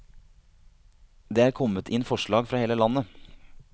Det er kommet inn forslag fra hele landet.